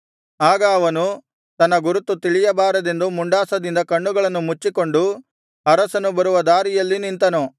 ಆಗ ಅವನು ತನ್ನ ಗುರುತು ತಿಳಿಯಬಾರದೆಂದು ಮುಂಡಾಸದಿಂದ ಕಣ್ಣುಗಳನ್ನು ಮುಚ್ಚಿಕೊಂಡು ಅರಸನು ಬರುವ ದಾರಿಯಲ್ಲಿ ನಿಂತನು